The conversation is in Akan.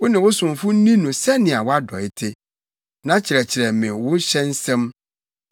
Wo ne wo somfo nni no sɛnea wʼadɔe te, na kyerɛkyerɛ me wo hyɛ nsɛm.